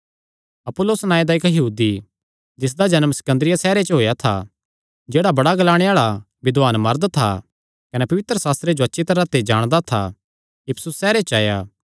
अपुल्लोस नांऐ दा इक्क यहूदी जिसदा जन्म सिकन्दरिया सैहरे च होएया था जेह्ड़ा बड़ा ग्लांणे आल़ा विद्वान मरद था कने पवित्रशास्त्र जो अच्छी तरांह ते जाणदा था इफिसुस सैहरे च आया